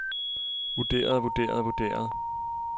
vurderede vurderede vurderede